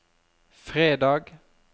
fredag